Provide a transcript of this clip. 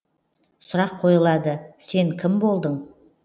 сұрақ қойылады сен кім болдың